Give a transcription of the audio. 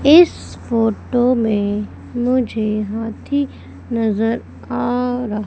इस फोटो में मुझे हाथी नजर आ रहा--